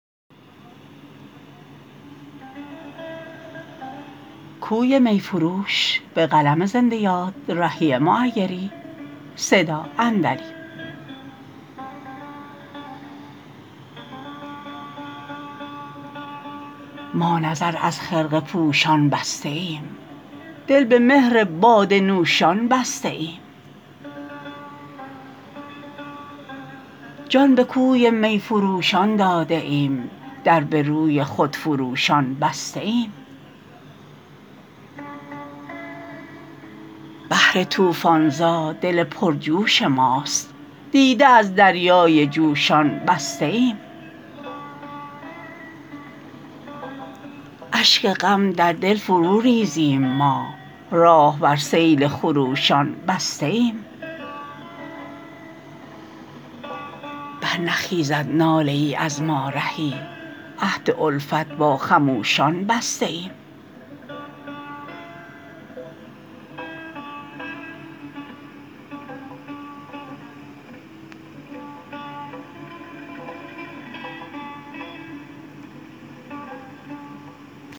ما نظر از خرقه پوشان بسته ایم دل به مهر باده نوشان بسته ایم جان به کوی می فروشان داده ایم در به روی خودفروشان بسته ایم بحر طوفان زا دل پرجوش ماست دیده از دریای جوشان بسته ایم اشک غم در دل فرو ریزیم ما راه بر سیل خروشان بسته ایم برنخیزد ناله ای از ما رهی عهد الفت با خموشان بسته ایم